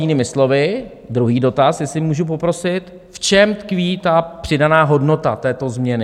Jinými slovy druhý dotaz, jestli můžu poprosit, v čem tkví ta přidaná hodnota této změny?